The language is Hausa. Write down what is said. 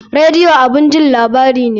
Radio abun jin labarai ne